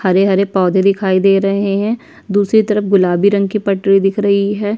हरे-हरे पौधे दिखाई दे रहे हैं दूसरे तरफ गुलाबी रंग की पटरी दिख रही है ।